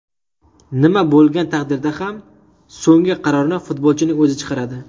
Nima bo‘lgan taqdirda ham so‘nggi qarorni futbolchining o‘zi chiqaradi.